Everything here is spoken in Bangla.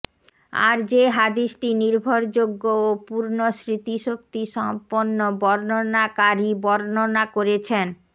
আর যে হাদিসটি নির্ভরযোগ্য ও পূর্ণ স্মৃতিশক্তিসম্পন্ন বর্ণনাকারী বর্ণনা করেছেন